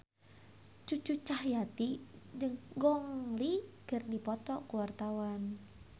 Cucu Cahyati jeung Gong Li keur dipoto ku wartawan